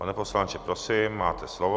Pane poslanče, prosím, máte slovo.